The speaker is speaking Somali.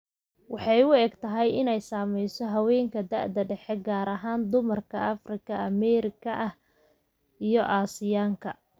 Waxay u egtahay inay saamayso haweenka da'da dhexe, gaar ahaan dumarka Afrikaan Ameerikaanka ah iyo Aasiyaanka.